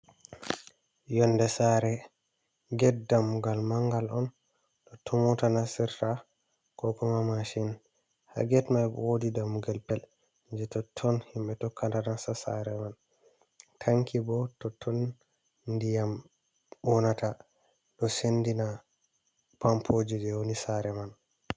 Yonnde saare "get" dammugal manngal on, totton moota nasirta koo "maashin" ha "get" may woodi dammugal pet jey totton himɓe tokkata nasta saare man. "Tanki" bo totton ndiyam wonata ɗo senndina pampooje jey woni saare man.